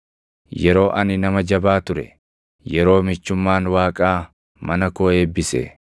yeroo ani nama jabaa ture, yeroo michummaan Waaqaa mana koo eebbise,